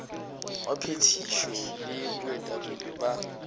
wa phethišo le baetapele ba